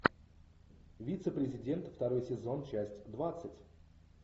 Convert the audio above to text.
вице президент второй сезон часть двадцать